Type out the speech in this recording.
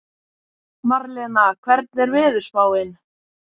Marlena, hvernig er veðurspáin?